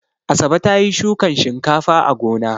Asabe ta yi shukan shinkafa a gona.